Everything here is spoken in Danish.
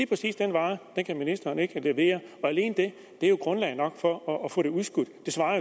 præcis den vare kan ministeren ikke levere og alene det er jo grundlag nok for at få det udskudt